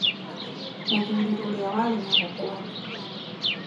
Mũthuri ũrĩa warĩ na mũkwanjũ